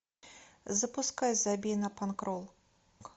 запускай забей на панк рок